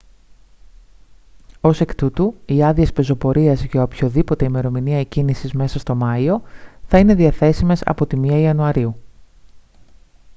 ως εκ τούτου οι άδειες πεζοπορίας για οποιαδήποτε ημερομηνία εκκίνησης μέσα στο μάιο θα είναι διαθέσιμες από την 1η ιαν